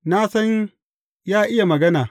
Na san ya iya magana.